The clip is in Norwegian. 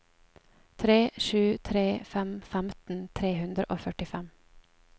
tre sju tre fem femten tre hundre og førtifem